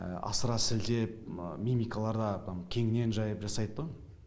асыра сілтеп мимикаларда там кеңінен жайып жасайтынтұғын